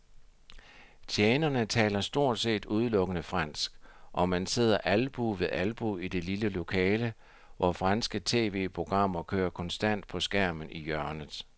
Tjenerne taler stort set udelukkende fransk, og man sidder albue ved albue i det lille lokale, hvor franske tv-programmer kører konstant på skærmen i hjørnet.